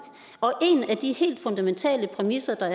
en af de helt fundamentale præmisser der